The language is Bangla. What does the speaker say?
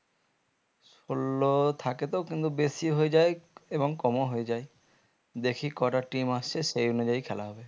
ষোলো থাকে তো কিন্তু বেশি হয়ে যায় এবং কম ও হয়ে যায় দেখি কোটা team আসছে সেই অনুযায়ী খেলা হবে